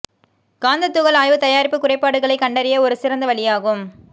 காந்த துகள் ஆய்வு தயாரிப்பு குறைபாடுகளை கண்டறிய ஒரு சிறந்த வழியாகும்